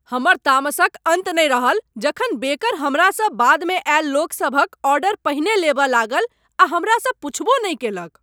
हमर तामसक अन्त नहि रहल जखन बेकर हमरासँ बादमे अयल लोक सभक ऑर्डर पहिने लेबय लागल आ हमरासँ पुछबो नहि कयलक।